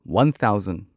one thousand